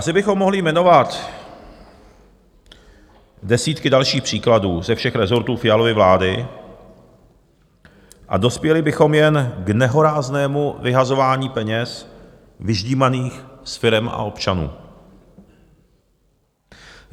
Asi bychom mohli jmenovat desítky dalších příkladů ze všech rezortů Fialovy vlády a dospěli bychom jen k nehoráznému vyhazování peněz vyždímaných z firem a občanů.